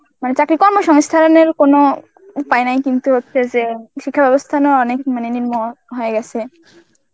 মানে চাকরির কর্মসংস্থানের কোন উপায় নাই কিন্তু হচ্ছে যে শিক্ষা ব্যবস্থা নেওয়া অনেক মানে নিম্ন হয়ে গেছে